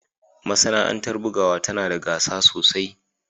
Masana'antar bugawa tana da gasa sosai